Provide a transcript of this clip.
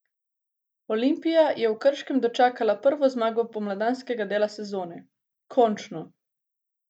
Olimpija je v Krškem dočakala prvo zmago pomladanskega dela sezone: "Končno!